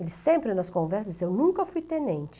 Ele sempre nas conversas dizia, eu nunca fui tenente.